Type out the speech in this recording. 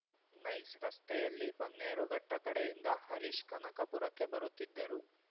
nice ರಸ್ತೆಯಲ್ಲಿ ಬನ್ನೇರುಘಟ್ಟಕಡೆಯಿಂದ ಹರೀಶ್‌ ಕನಕಪುರಕ್ಕೆ ಬರುತ್ತಿದ್ದರು